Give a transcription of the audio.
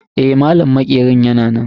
Eh, malam maƙerin yana nan.